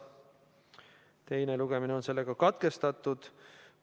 Teine lugemine on katkestatud.